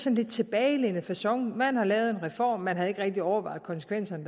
en lidt tilbagelænet facon man har lavet en reform man har ikke rigtig overvejet konsekvenserne